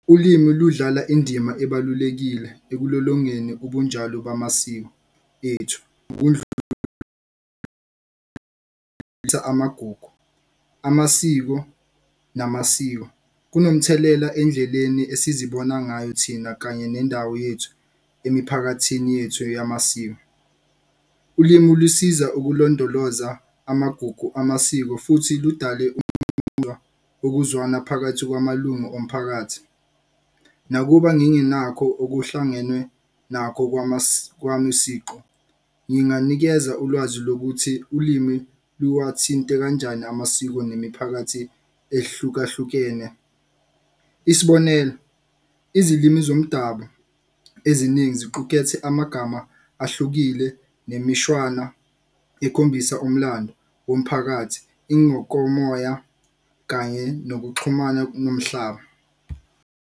Ulimi ludlala indima ebalulekile ekulolongeni ubunjalo bamasiko ethu amagugu, amasiko namasiko kunomthelela endleleni esizibona ngayo thina kanye nendawo yethu emiphakathini yethu eyamasiko. Ulimi lusiza ukulondoloza amagugu amasiko futhi ludale ukuzwana phakathi kwamalunga omphakathi. Nakuba ngingenakho okuhlangenwe nakho kwamasiko nginganikeza ulwazi lokuthi ulimi luwathinte kanjani amasiko nemiphakathi ehlukahlukene. Isibonelo, izilimi zomdabu eziningi ziqukethe amagama ahlukile nemishwana ekhombisa umlando womphakathi ingokomoya kanye nokuxhumana komhlaba.